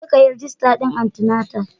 Jeka kayi rijista din anti-natal.